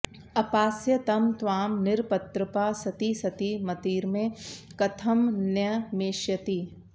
अपास्य तं त्वां निरपत्रपा सती सती मतिर्मे कथमन्यमेष्यति